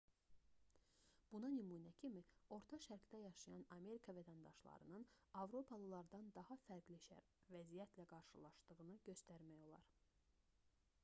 buna nümunə kimi orta şərqdə yaşayan amerika vətəndaşlarının avropalılardan daha fərqli vəziyyətlə qarşılaşdığını göstərmək olar